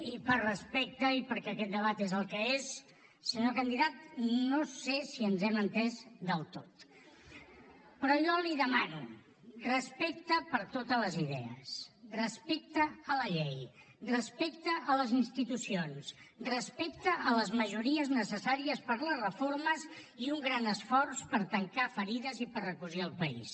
i per respecte i perquè aquest debat és el que és senyor candidat no sé si ens hem entès del tot però jo li demano respecte per totes les idees respecte a la llei respecte a les institucions respecte a les majories necessàries per les reformes i un gran esforç per tancar ferides i per recosir el país